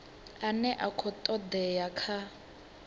ane a khou todea kha